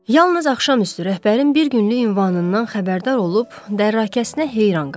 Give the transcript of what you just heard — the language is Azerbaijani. Yalnız axşam üstü rəhbərin bir günlük ünvanından xəbərdar olub dərakəsinə heyran qaldı.